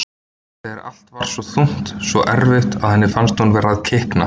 Þegar allt varð svo þungt, svo erfitt, að henni fannst hún vera að kikna.